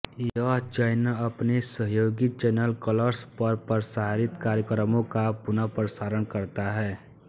यह चैनल अपने सहयोगी चैनल कलर्स पर प्रसारित कार्यक्रमों का पुनर्प्रसारण करता है